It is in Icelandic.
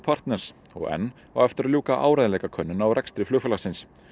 partners og enn á eftir að ljúka áreiðanleikakönnun á rekstri flugfélagsins